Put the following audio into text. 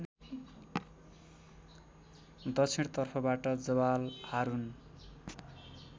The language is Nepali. दक्षिणतर्फबाट जबाल हारुन